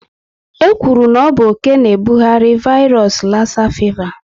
E kwuru na ọ bụ oké na ebughari vairos lassa fịva